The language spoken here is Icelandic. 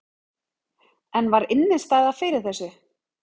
En var innistæða fyrir þessu?